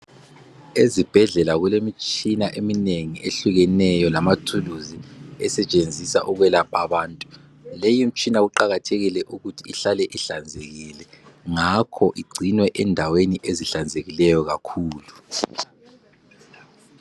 Ezibhedlela kulemitshina eminengi ehlukeneyo, lamathuluzi, esetshenziswa ukwelapha abantu. Leyimitshina, kuqakathekile ukuthi ihlale ihlanzekile. Ngakho igcinwa endaweni ezihlanzekileyo kakhulu.